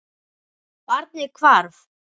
Barnið hvarf.